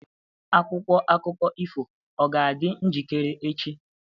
Akwụkwọ akụkọ ifo ọ ga-adị njikere echi?